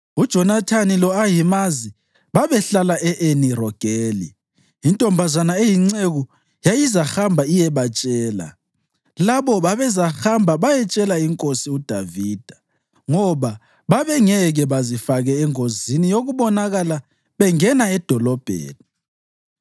UJonathani lo-Ahimazi babehlala e-Eni Rogeli. Intombazana eyinceku yayizahamba iyebatshela, labo bezahamba bayetshela inkosi uDavida, ngoba babengeke bazifake engozini yokubonakala bengena edolobheni.